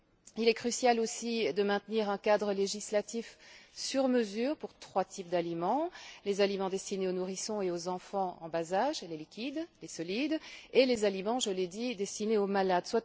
Il est crucial de maintenir aussi un cadre législatif sur mesure pour trois types d'aliments les aliments destinés aux nourrissons et aux enfants en bas âge liquides et solides et les aliments je l'ai dit destinés aux malades.